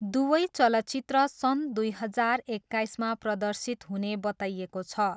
दुवै चलचित्र सन् दुई हजार एक्काइसमा प्रदर्शित हुने बताइएको छ।